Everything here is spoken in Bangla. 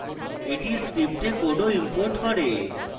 এটি script code ও imports করে